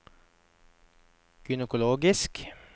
gynekologisk